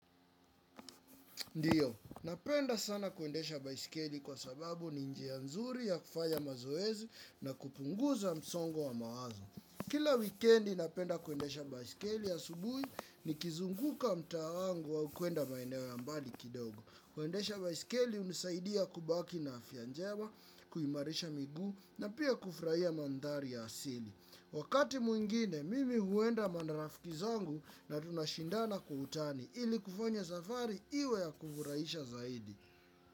Ndiyo, napenda sana kuendesha baisikeli kwa sababu ni njia nzuri ya kufanya mazoezi na kupunguza msongo wa mawazo. Kila weekendi napenda kuendesha baisikeli asubuhi nikizunguka mtaa wangu au kuenda maeneo ya mbali kidogo. Kuendesha baisikeli unisaidia kubaki na afya njema, kuimarisha miguu na pia kufurahia mandhari ya asili. Wakati mwingine, mimi huenda na marafiki zangu na tunashindana kwa utani ili kufanya safari iwe ya kufurahisha zaidi.